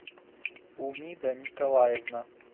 умида николаевна